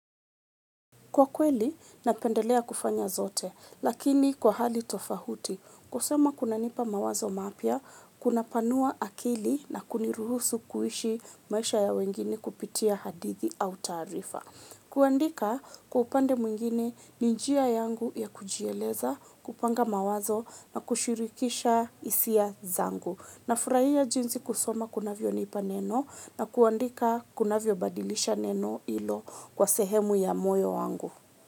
Kwa kweli, napendelea kufanya zote, lakini kwa hali tofahuti, kusema kuna nipa mawazo mapia, kuna panua akili na kuniruhusu kuishi maisha ya wengine kupitia hadithi au tarifa. Kuandika, kwa upande mwingine ninjia yangu ya kujieleza, kupanga mawazo na kushirikisha isia zangu. Na furaia jinzi kusoma kunavyo nipa neno na kuandika kunavyo badilisha neno ilo kwa sehemu ya moyo wangu.